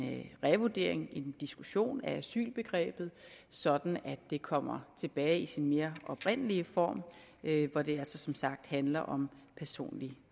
revurdering en diskussion af asylbegrebet sådan at det kommer tilbage i sin mere oprindelige form hvor det altså som sagt handler om personlig